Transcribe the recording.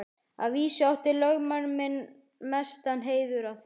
Að vísu átti lögmaður minn mestan heiður af því.